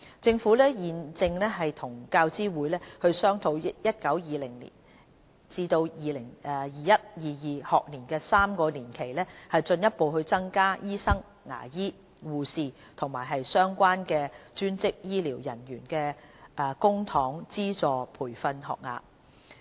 政府現正與教資會商討於 2019-2020 學年至 2021-2022 學年的3年期，進一步增加醫生、牙醫、護士和相關專職醫療人員的公帑資助培訓學額。